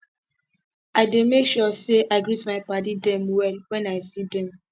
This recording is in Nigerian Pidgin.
i dey make sure sey i greet my paddy dem well wen i see dem